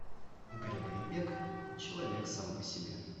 грегори пек человек сам по себе